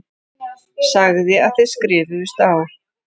Sagði að þið skrifuðust á.